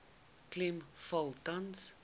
klem val tans